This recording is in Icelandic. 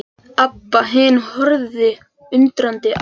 Abba hin horfði undrandi á þær.